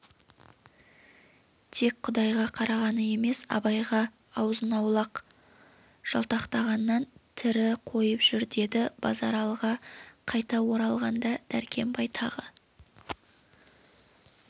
тек құдайға қарағаны емес абайға азын-аулақ жалтақтағаннан тірі қойып жүр деді базаралыға қайта оралғанда дәркембай тағы